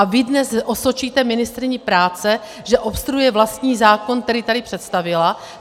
A vy dnes osočíte ministryni práce, že obstruuje vlastní zákon, který tady představila?